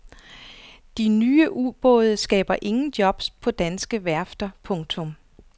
De nye ubåde skaber ingen jobs på danske værfter. punktum